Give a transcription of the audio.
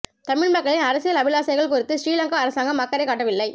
தமிழ் மக்களின் அரசியல் அபிலாசைகள் குறித்து ஸ்ரீலங்கா அரசாங்கம் அக்கறை காட்டவில்லை